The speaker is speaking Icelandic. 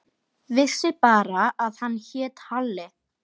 Vissi bara að hann hét Halli.